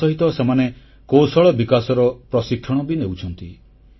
ତାସହିତ ସେମାନେ କୌଶଳ ବିକାଶର ପ୍ରଶିକ୍ଷଣ ବି ନେଉଛନ୍ତି